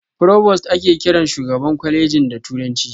"Provost" ake kiran shugaban kwaleji da turanci.